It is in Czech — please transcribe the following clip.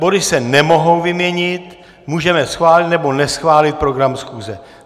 Body se nemohou vyměnit, můžeme schválit, nebo neschválit program schůze.